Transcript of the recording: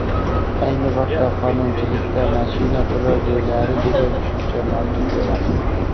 ayni vaqtda qonunchilikda mashina turar joylari degan tushuncha mavjud emas.